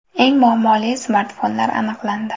Eng muammoli smartfonlar aniqlandi.